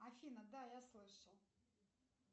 афина да я слышал